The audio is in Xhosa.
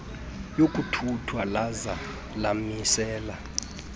yokuthuthwa laza lamisela